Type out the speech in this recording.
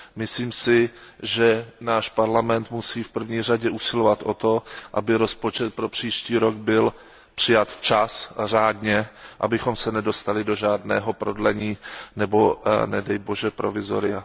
Myslím si, že náš Parlament musí v první řadě usilovat o to, aby rozpočet pro příští rok byl přijat včas a řádně, abychom se nedostali do žádného prodlení nebo provizoria.